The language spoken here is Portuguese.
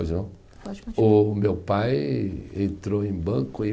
Pois não. Pode continuar. O meu pai entrou em banco em